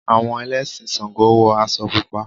Àwọn Ẹlẹ́sìn ṣàǹgó wọ aṣọ Pupa.